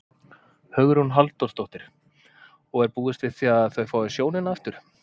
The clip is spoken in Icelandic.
Hugrún Halldórsdóttir: Og er búist við því að þau fái sjónina aftur?